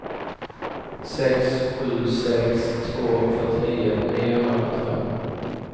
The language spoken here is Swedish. sex sju sex två fyrtionio niohundrasjuttiofem